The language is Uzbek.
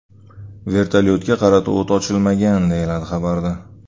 Vertolyotga qarata o‘t ochilmagan”, deyiladi xabarda.